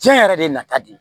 Diɲɛ yɛrɛ de ye nafa de ye